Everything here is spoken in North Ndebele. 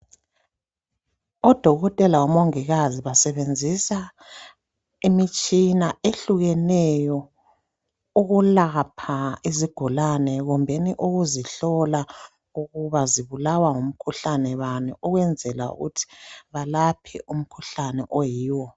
Odokotela lomongikazi basebenzisa imitshina ehlukeneyo ukulapha izigulane kumbeni ukuzihlola ukuba zibulawa ngumkhuhlane bani ukwenzela ukuthi balaphe umkhuhlane oyiwo.